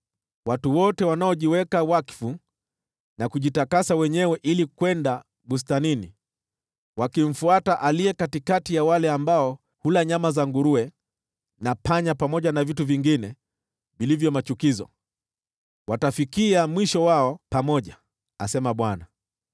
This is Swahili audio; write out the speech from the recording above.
“Watu wote wanaojiweka wakfu na kujitakasa wenyewe ili kwenda bustanini, wakimfuata aliye katikati ya wale ambao hula nyama za nguruwe na panya pamoja na vitu vingine vilivyo machukizo, watafikia mwisho wao pamoja,” asema Bwana .